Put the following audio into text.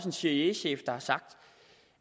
en cia chef der har sagt